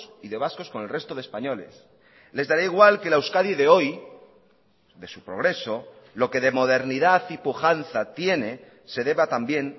y de vascos con el resto de españoles les dará igual que la euskadi de hoy de su progreso lo que de modernidad y pujanza tiene se deba también